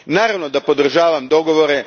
Naravno da podržavam dogovore.